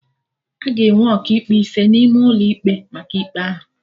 Aga enwe Ọkaikpe ise n'ime ụlọ ikpe maka ikpe ahụ